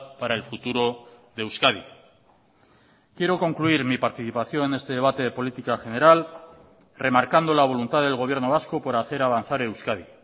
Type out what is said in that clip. para el futuro de euskadi quiero concluir mi participación en este debate de política general remarcando la voluntad del gobierno vasco por hacer avanzar euskadi